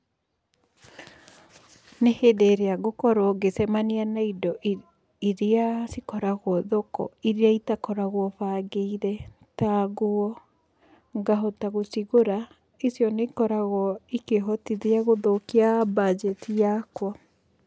Nĩ hĩndĩ ĩrĩa ngũkorwo ngĩcemania na indo iria cikoragwo thoko, iria itakoragwo bangĩire ta nguo, ngahota gũcigũra icio nĩ ikoragwo ikĩhotithia gũthũkia banjeti yakwa.